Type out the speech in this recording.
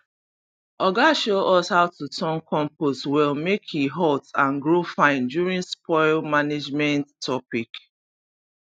oga show us how to turn compost well make e hot and grow fine during spoil management topic